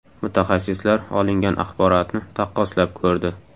Mutaxassislar olingan axborotni taqqoslab ko‘rdi.